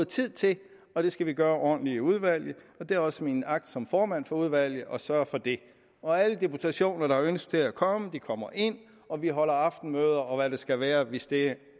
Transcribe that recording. tid til og det skal vi gøre ordentligt i udvalget og det er også min agt som formand for udvalget at sørge for det alle deputationer der har ønske om at komme kommer ind og vi holder aftenmøder og hvad det skulle være hvis det